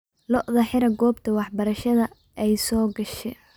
Lo'odha xira gobta waxbarashada aay sogashe.